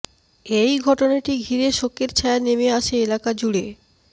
এই ঘটনাটি ঘিরে শোকের ছায়া নেমে আসে এলাকা জুড়ে